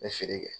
N bɛ feere kɛ